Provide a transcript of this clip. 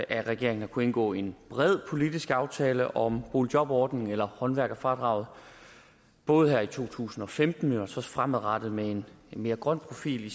at regeringen har kunnet indgå en bred politisk aftale om boligjobordningen eller håndværkerfradraget både her i to tusind og femten også fremadrettet med en mere grøn profil i